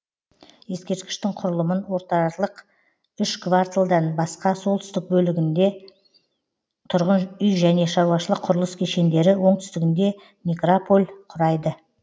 ескерткіштің құрылымын отралық үш кварталдан басқа солтүстік бөлігінде тұрғын үй және шаруашылық құрылыс кешендері оңтүстігінде некрополь құрайды